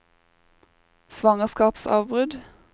svangerskapsavbrudd